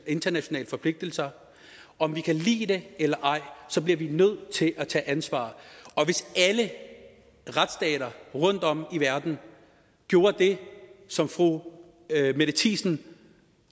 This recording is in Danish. internationale forpligtelser om vi kan lide det eller ej bliver vi nødt til at tage ansvar hvis alle retsstater rundtom i verden gjorde det som fru mette thiesen